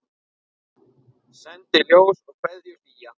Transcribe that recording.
Sendi ljós og kveðju hlýja.